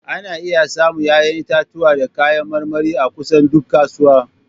Ana iya samun 'ya'yan itatuwa da kayan marmari a kusan duk kasuwa.